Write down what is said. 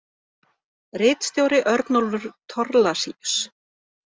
Ritstjóri Örnólfur Thorlacius.